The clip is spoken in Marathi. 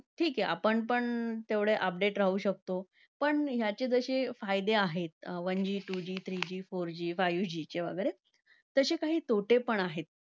ठीक आहे, आपण पण तेवढे update राहू शकतो. पण ह्याचे जसे फायदे आहेत one G, two G, three G, four G five G चे वगैरे. तसे काही तोटे पण आहेत.